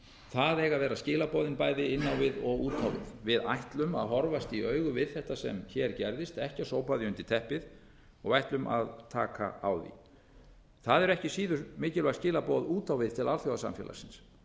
það eiga að vera skilaboðin bæði inn á við og út á við við ætlum að horfast í augu við þetta sem hér gerðist ekki sópa því undir teppið og ætlum að taka á því það er ekki síður mikilvæg skilaboð út á við til alþjóðasamfélagsins